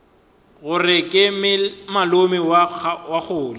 gore ke malome wa kgole